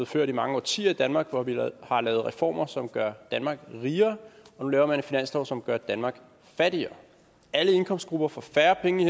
ført i mange årtier i danmark hvor vi har lavet reformer som gør danmark rigere og nu laver man en finanslov som gør danmark fattigere alle indkomstgrupper får færre penge